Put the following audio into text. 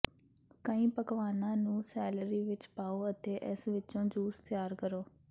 ਕਈ ਪਕਵਾਨਾਂ ਨੂੰ ਸੈਲਰੀ ਵਿੱਚ ਪਾਓ ਅਤੇ ਇਸ ਵਿੱਚੋਂ ਜੂਸ ਤਿਆਰ ਕਰੋ